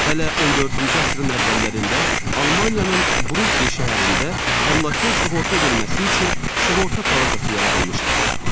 Hələ 14-cü əsrin əvvəllərində Almaniyanın Brügge şəhərində əmlakın sığorta edilməsi üçün sığorta palatası yaradılmışdı.